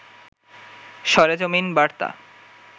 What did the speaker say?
সরেজমিন বার্তা